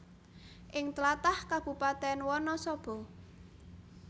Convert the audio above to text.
Ing tlatah Kabupatèn Wanasaba